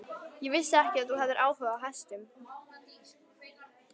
Ég vissi ekki að þú hefðir áhuga á hestum.